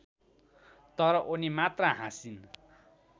तर उनी मात्र हाँसिन्